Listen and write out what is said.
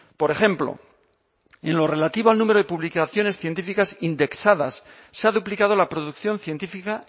por ejemplo en lo relativo al número de publicaciones científicas indexadas se ha duplicado la producción científica